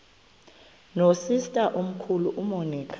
nosister omkhulu umonica